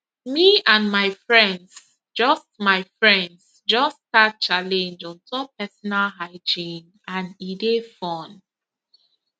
me and my friends just my friends just start challenge on top personal hygiene and e dey fun